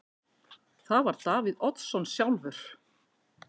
Það var Davíð Oddsson sjálfur.